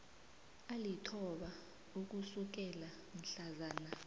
alithoba ukusukela mhlazana